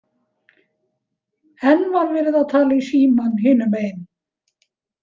Enn var verið að tala í símann hinum megin.